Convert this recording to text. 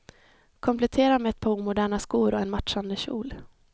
Komplettera med ett par omoderna skor och en matchande kjol.